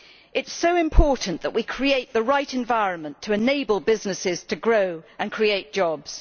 It is so important we create the right environment to enable businesses to grow and create jobs.